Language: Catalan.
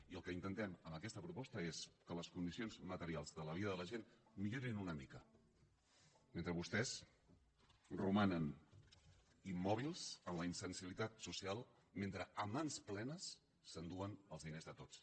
i el que intentem amb aquesta proposta és que les condicions materials de la vida de la gent millorin una mica mentre vostès romanen immòbils en la insensibilitat social mentre a mans plenes s’enduen els diners de tots